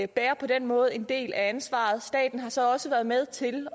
bærer på den måde en del af ansvaret staten har så også været med til